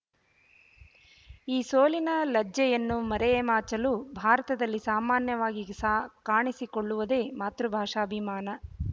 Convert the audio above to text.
ಈ ಸೋಲಿನ ಲಜ್ಜೆಯನ್ನು ಮರೆಯ ಮಾಚಲು ಭಾರತದಲ್ಲಿ ಸಾಮಾನ್ಯವಾಗಿಗಿ ಸ ಕಾಣಿಸಿಕೊಳ್ಳವುದೇ ಮಾತೃಭಾಷಾಭಿಮಾನ